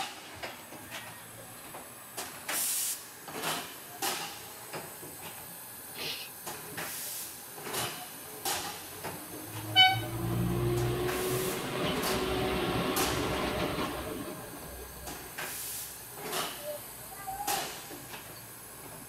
sidaamunitti lowonta biifanno woyi baxisanno sagalle yaa teneeti kolisho gereere giddo addo afanitannoha ikanna tenne addoni qaame intannitino gidunni qixeesinooniti gafumate yinannitenni qaafanni.